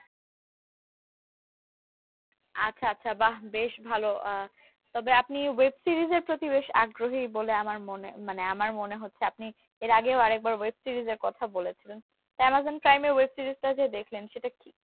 আচ্ছা আচ্ছা বাহ বেশ ভালো আহ তবে আপনি web series এর প্রতি বেশ আগ্রহী বলে আমার মনে মানে আমার মনে হচ্ছে আপনি এর আগেও আরেকবার web series এর কথা বলেছিলেন তা অ্যামাজন প্রাইমে web series টা যে দেখলেন সেটা কি